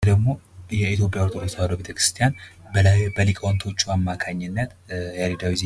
ይህ ደግሞ የኢትዮጵያ ኦርቶዶክስ ተዋህዶ ቤተ ክርስቲያን በሊቃውንቶችዋ አማካኝነት ያሬዳዊ ዜማ